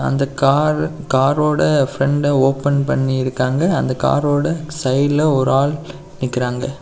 அந்த காரு காரோட front open பண்ணிருக்காங்க அந்த காரோட சைட்ல ஒரு ஆள் நிக்குறாங்க.